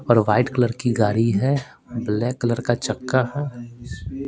और white colour की गाड़ी है ब्लैक कलर का चक्का है।